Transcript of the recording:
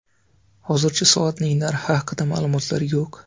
Hozircha soatning narxi haqida ma’lumotlar yo‘q.